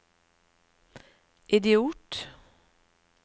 idiot